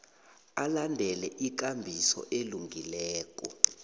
alandele ikambiso elungileko